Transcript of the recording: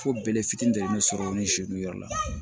Fo bere fitinin de sɔrɔ ni yɔrɔ la